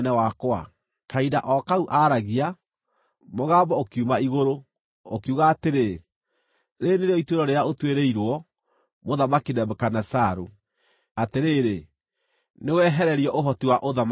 Kahinda o kau aaragia, mũgambo ũkiuma igũrũ, ũkiuga atĩrĩ, “Rĩĩrĩ nĩrĩo ituĩro rĩrĩa ũtuĩrĩirwo, Mũthamaki Nebukadinezaru: Atĩrĩrĩ, nĩwehererio ũhoti wa ũthamaki waku.